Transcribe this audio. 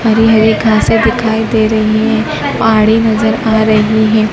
हरी हरी घासें दिखाई दे रही हैं पहाड़ी नजर आ रही है।